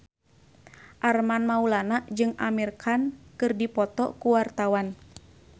Armand Maulana jeung Amir Khan keur dipoto ku wartawan